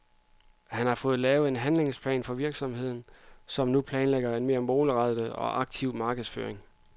Han har fået lavet en handlingsplan for virksomheden, som nu planlægger en mere målrettet og aktiv markedsføring.